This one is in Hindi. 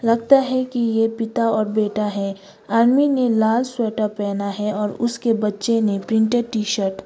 लगता है कि ये पिता और बेटा है आदमी ने लाल स्वेटर पहना है और उसके बच्चे ने प्रिंटेड टी शर्ट ।